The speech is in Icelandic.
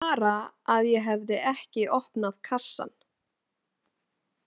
Bara að ég hefði ekki opnað kassann.